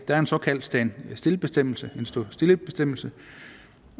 der er en såkaldt standstill bestemmelse en stå stille bestemmelse